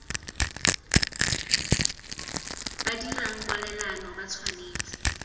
ba dirang kwalelano ba tshwanetse